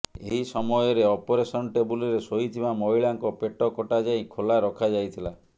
ଏହି ସମୟରେ ଅପରେସନ ଟେବୁଲରେ ଶୋଇଥିବା ମହିଳାଙ୍କ ପେଟ କଟା ଯାଇ ଖୋଲା ରଖାଯାଇଥିଲା